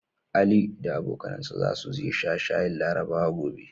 Ali da abokanansa zasu je su sha shayin Larabawa gobe.